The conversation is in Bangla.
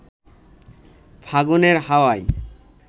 ফাগুনের হাওয়ায়